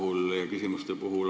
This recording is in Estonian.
Teine küsimus on veel.